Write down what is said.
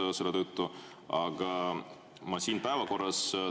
Aga ma siin päevakorras.